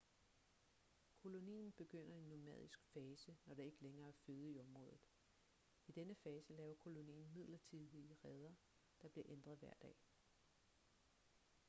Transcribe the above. kolonien begynder en nomadisk fase når der ikke lægere er føde i området i denne fase laver kolonien midlertidige reder der bliver ændret hver dag